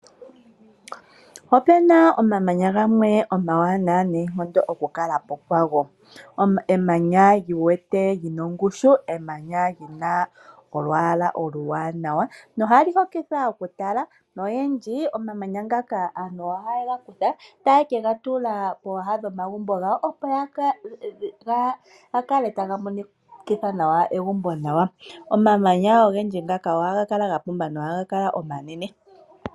Opuna omamanya gamwe omawaanawa noonkondo oku kala po kwago. Emanya lyiwete lyina ongushu. Emanya lyina olwaala oluwaanawa nohali hokitha oku tala, noyendji omamanya ngaka aantu ohaye ga kutha taye ke ga tula pooha dhomagumbo gawo, opo ga kale taga monikitha nawa egumbo nawa. Omamanya ogendji ngaka ohaga kala ga pumba nohaga kala omanene.